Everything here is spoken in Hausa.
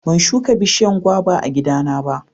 ban shuka bishiyan gwaba a gida na ba